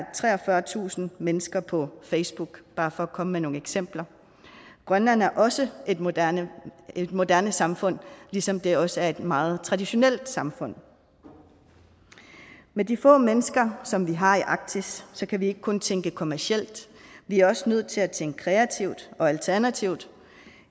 er treogfyrretusind mennesker på facebook bare for at komme med nogle eksempler grønland er også et moderne et moderne samfund ligesom det også er et meget traditionelt samfund med de få mennesker som vi har i arktis kan vi ikke kun tænke kommercielt vi er også nødt til at tænke kreativt og alternativt